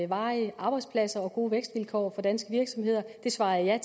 varige arbejdspladser og gode vækstvilkår for danske virksomheder det svarede jeg